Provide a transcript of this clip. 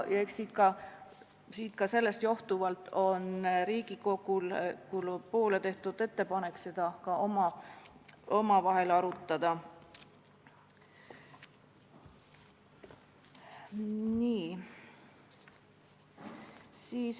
Eks ikka sellest johtuvalt on Riigikogule tehtud ettepanek seda ka omavahel arutada.